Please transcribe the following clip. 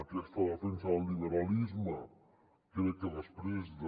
aquesta defensa del liberalisme crec que després de